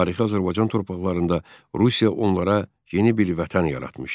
Tarixi Azərbaycan torpaqlarında Rusiya onlara yeni bir vətən yaratmışdı.